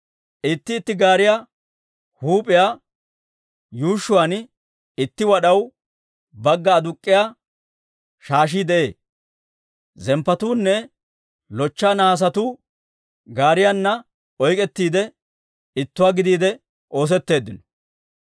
Itti itti gaariyaa huup'iyaa yuushshuwaan itti wad'aw bagga aduk'k'iyaa shaashii de'ee; zemppotuunne lochcha nahaasetuu gaariyaana oyk'k'ettiide, ittuwaa gidiide oosetteeddino.